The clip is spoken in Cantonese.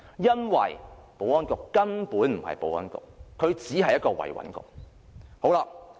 因為保安局根本不是保安局，而只是"維穩局"。